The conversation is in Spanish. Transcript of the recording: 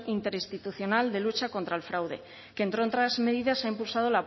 interinstitucional de lucha contra el fraude que entre otras medidas ha impulsado